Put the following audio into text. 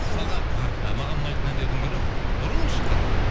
мысалға маған ұнайтын әндердің бірі бұрын шыққан